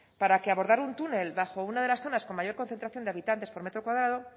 para que abordar un túnel bajo una de las zonas con mayor concentración de habitantes por metro cuadrado